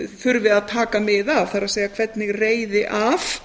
þurfi að taka mið af það er hvernig reiði af